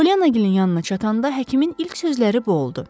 Polyannagilin yanına çatanda həkimin ilk sözləri bu oldu.